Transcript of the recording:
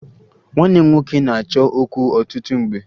Nwanne m nwoke na-achọ okwu ọtụtụ mgbe